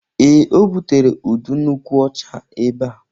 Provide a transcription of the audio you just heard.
Ee, o butere udu nkwụ ọcha ebe a